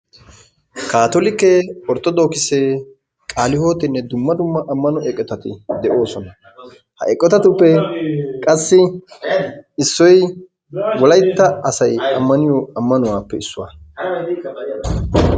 kattolikke Orttodikisse, qaalihiwoote dumma dumma ammano eqqotatii de'oosona. Ha eqqotatuppe issoy qassi Wolaytta asati ammaniyo ammanotuppe issuwaa.